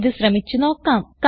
ഇത് ശ്രമിച്ച് നോക്കാം